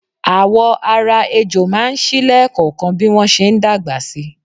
Àwọ̀ ara ejò máa ń ṣí lẹẹkọọkan bí wọn ṣe ń dàgbà si.